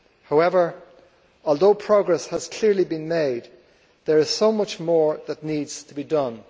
However, although progress has clearly been made, there is so much more that needs to be done.